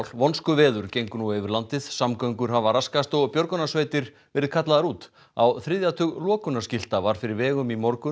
vonskuveður gengur nú yfir landið samgöngur hafa raskast og björgunarsveitir verið kallaðar út á þriðja tug var fyrir vegum í morgun